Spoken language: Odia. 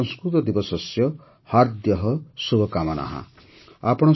ସଂସ୍କୃତଦିବସସ୍ୟ ହାର୍ଦ୍ୟଃ ଶୁଭକାମନାଃ